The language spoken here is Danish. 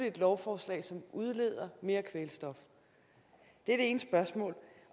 et lovforslag som indebærer udledning af mere kvælstof det